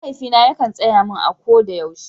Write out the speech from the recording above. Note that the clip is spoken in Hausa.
Mahaifina yakan tsaya mun a ko yaushe